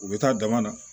U bɛ taa dama na